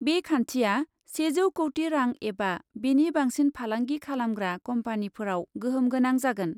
बे खान्थिया सेजौ कौटि रां एबा बेनि बांसिन फालांगि खालामग्रा कम्पानीफोराव गोहोम गोनां जागोन ।